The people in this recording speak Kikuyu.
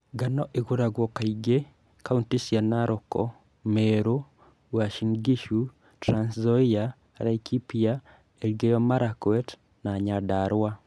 Ngano ĩkũragio kaingĩ kauntĩ cia Narok, Meru, Uasin Gishu, Trans Nzoia, Laikipia, Elgeyo Marakwet na Nyandarua